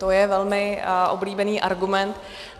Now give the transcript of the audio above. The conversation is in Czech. To je velmi oblíbený argument.